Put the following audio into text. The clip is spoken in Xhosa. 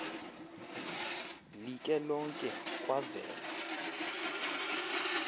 like lonke kwavela